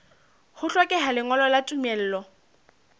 ho hlokeha lengolo la tumello